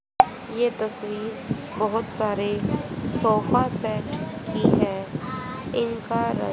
ये तस्वीर बहोत सारे सोफासेट की हैं इनका रंग--